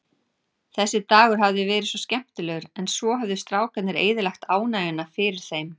Þessi dagur hafði verið svo skemmtilegur, en svo höfðu strákarnir eyðilagt ánægjuna fyrir þeim.